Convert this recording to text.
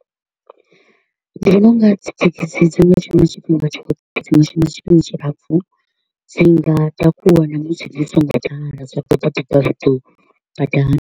Ndi vhona u nga dzithekhisi dzi nga shuma tshifhinga tshoṱhe, dzi nga shuma tshifhinga tshilapfu, dzi nga takuwa na musi dzi so ngo ḓala dza to u takuwa dza ṱuwa badani.